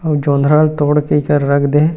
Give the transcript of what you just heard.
अउ जोंधरा ल तोड़ के एकर रख देहे।